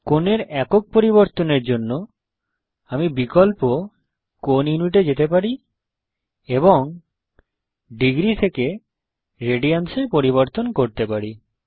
কোণের একক পরিবর্তনের জন্য আমি বিকল্প অপশন কোণ ইউনিটে যেতে পারি এবং ডিগ্রী থেকে রেডিয়ানস এ পরিবর্তন করতে পারি